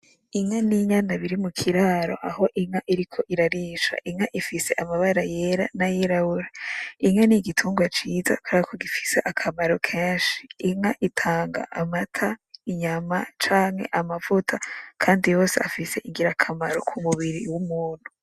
Inka ninyana biri mukiraro aho inka iriko irarisha, inka ifise amabara yera nayirabura. Inka nigitunrwa ciza kuberako gifise akamaro kenshi, inka itanga amata , inyama canke amavuta kandi yose afise ingirakamaro kumubiri wumuntu.